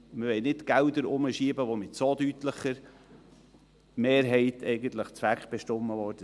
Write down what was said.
Wir wollen keine Gelder herumschieben, die mit so deutlicher Mehrheit zweckbestimmt wurden.